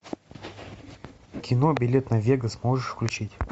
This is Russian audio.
кино билет на вегас можешь включить